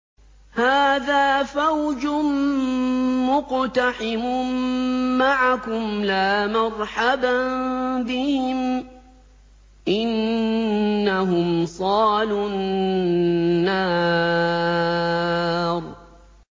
هَٰذَا فَوْجٌ مُّقْتَحِمٌ مَّعَكُمْ ۖ لَا مَرْحَبًا بِهِمْ ۚ إِنَّهُمْ صَالُو النَّارِ